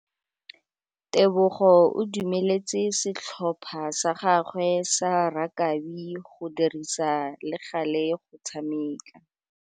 Tebogô o dumeletse setlhopha sa gagwe sa rakabi go dirisa le galê go tshameka.